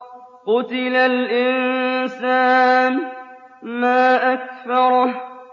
قُتِلَ الْإِنسَانُ مَا أَكْفَرَهُ